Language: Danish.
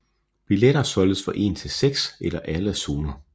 Billetter solgtes for en til seks eller alle zoner